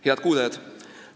Head kuulajad!